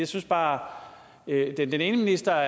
synes bare den ene minister er